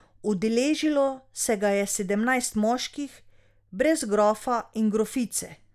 Udeležilo se ga je sedemnajst moških, brez grofa in grofice.